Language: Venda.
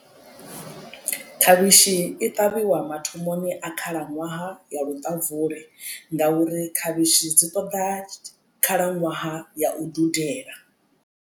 Khavhishi i ṱavhiwa mathomoni a khalaṅwaha ya luṱabvula ngauri khavhishi dzi ṱoḓa khalaṅwaha ya u dudela.